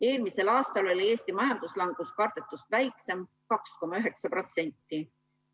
Eelmisel aastal oli Eesti majanduslangus kardetust väiksem: 2,9%.